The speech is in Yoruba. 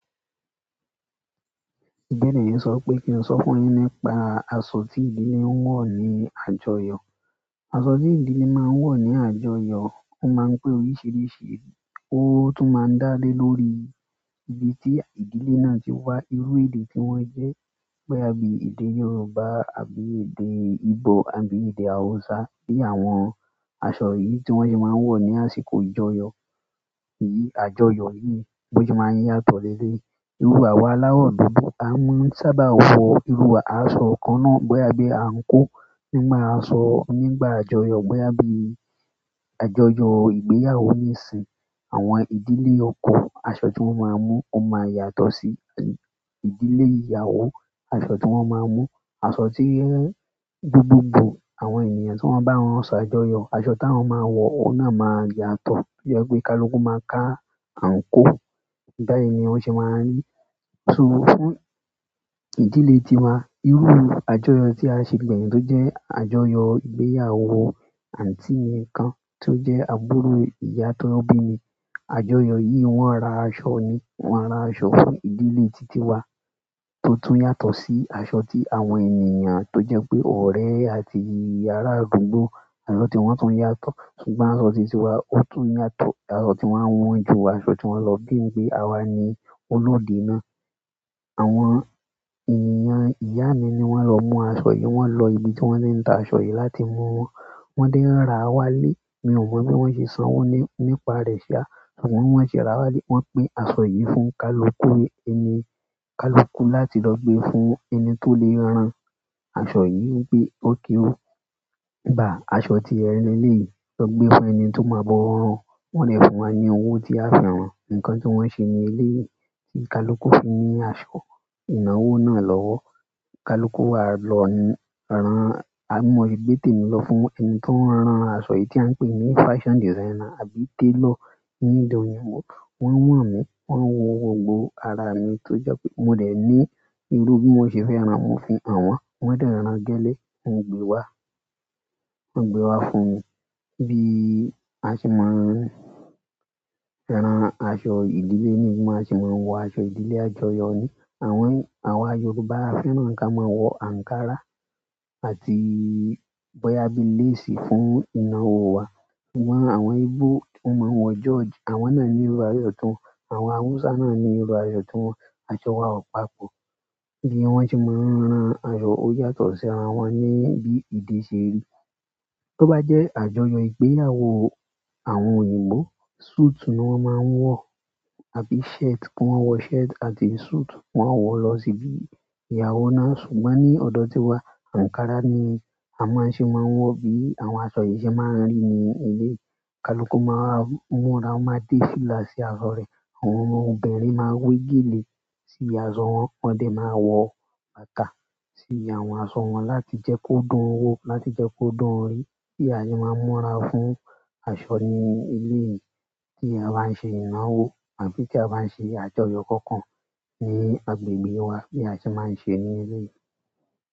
Kini yìí sọ wípé ki n sọ fún yin nípa aṣọ ti mo ma n wọ ni àjọyọ̀. Aṣọ tí ìdílé máa ń wọ̀ ní àjọyọ̀, ó máa ń pé oríṣiríṣi. Ó tún máa ń dá lé lórí ibi tí ìdílé náà ti wá, irú èdè tí wọ́n jẹ́ bóyá bí èdè Yorùbá àbí èdè Igbo àbí èdè Hausa bí àwọn aṣọ yìí tí wọ́n sì máa ń wọ̀ ní àsìkò ìjọyọ̀. Àjọyọ̀ yìí bi o se ma n yàtọ̀ ni eleyi. Irú àwọ̀ aláwọ̀ dúdú a maa n sábà wọ irú àṣọ kan náà bóyá bí àǹkóò nígbà aṣọ nígbà àjọyọ̀ bóyá bí àjọyọ̀ ìgbéyàwó nísìn. Àwọn ìdílé oko aṣọ tí wọ́n máa mú ó máa yàtọ̀ sí ìdílé ìyàwó aṣọ tí wọ́n máa mú. Aṣọ tí n dúdú bọ̀ àwọn ènìyàn tí wọ́n bá rán aṣọ àjọyọ̀ aṣọ tí àwọn máa wọ̀ ó náà máa yàtọ̀. Bí i pé kaluku máa ka àǹkóò. Báyìí ni ó sì máa ń rí. Tún fún ìdílé tiwa irú àjọyọ̀ tí a ṣe gbẹ̀yín tó jẹ́ àjọyọ̀ ìgbéyàwó àǹtí mi kan tó jẹ́ àbúrò ìyá tó bí mi. Àjọyọ̀ yìí wọ́n ra aṣọ ni wọ́n ra aṣọ fún ìdílé títí wa tó tún yàtọ̀ sí aṣọ tí àwọn ènìyàn tó jẹ́ pé ọ̀rẹ́ àti ará àdúgbò aṣọ tí wọ́n tún yàtọ̀. Ṣùgbọ́n aṣọ títí wa ó tún yàtọ̀ aṣọ tí wọ́n wọ́n ju aṣọ tí wọ́n lọ gbé ni pé àwa ni onódù náà. Àwọn ènìyàn ìyá mi ni wọ́n lọ mú aṣọ yìí. Wọn lọ ibi tí wọ́n ti ń ta aṣọ yìí láti mú wọn. Wọ́n dé rà wá lé. Mi ò mọ̀ bí wọ́n ṣe san wọ́n nípa rẹ̀ síá ṣùgbọ́n wọ́n ṣe rà wá lé. Wọ́n pín aṣọ yìí fún kaluku ẹni kaluku láti lọ gbé fún ẹni tó lè rán an. Aṣọ yìí gbé ó kéwì. Gbà aṣọ tí ẹni eleyii lọ gbé fún ẹni tó máa bọ̀ ràn wọn dé fún wa ní owó tí a fi rán. Nǹkan tí wọ́n ṣe ní ilé yìí tí kaluku fi ní aṣọ ìnáwó náà lọ́wọ́. Kaluku wa lọ rán a mọ ibi gbé tèmi lọ fún ẹni tó ń rán aṣọ yìí tí à ń pè ní fashion designer àbí tailor ní èdè òyìnbó. Wọn wọn mi, wọn wo gbogbo ara mi to je pe mo de ni iru ti mo se fẹ ran, mo fi han wọn, wọn de ran gẹlẹ. Wọ́n gbé wá. Wọ́n gbé wá fún mi. Bí a ṣe máa ń rán aṣọ ìdílé mi bí a ṣe máa ń wọ aṣọ ìdílé àjọyọ̀ ni. Àwọn, àwa Yorùbá fẹ́ràn kí a máa wọ ankara àti bóyá bí lace fún ìnáwó wa. Wọ́n àwọn Igbo wọ́n máa ń wọ George. Àwọn náà ní irú aṣọ tí wọ́n. Àwọn Hausa náà ní irú aṣọ tí wọ́n. Aṣọ wa o papọ̀. Bí wọ́n ṣe máa ń rán aṣọ ó yàtọ̀ sí ara wọn ní bí èdè ṣe rí. Tó bá jẹ́ àjọyọ̀ ìgbéyàwó àwọn òyìnbó suit ni wọ́n máa ń wọ̀. Àbí shirt wọ́n máa ń wọ shirt àti suit wọ́n máa ń wọ̀ lọ síbí ìyàwó náà. Ṣùgbọ́n ní ọ̀dọ̀ tiwa ankara ni a máa ń ṣe máa ń wọ bí àwọn aṣọ yìí ṣe máa ń rí ní ilé. Kaluku máa múra máa dé fílà sí aṣọ rẹ̀. Àwọn ọmọbìnrin máa wé gèlè sí aṣọ wọn. Wọ́n dẹ̀ máa wọ bàtà sí àwọn aṣọ wọn láti jẹ́ kó dùn wó láti jẹ́ kó dùn orí. Bí a ṣe máa ń múra fún aṣọ ní eléyìí tí a bá ń ṣe ìnáwó àbí tí a bá ń ṣe àjọyọ̀ kankan ní agbègbè wa bí a ṣe máa ń ṣe ní ilé yìí.